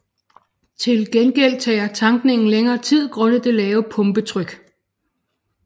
Til gengæld tager tankningen længere tid grundet det lavere pumpetryk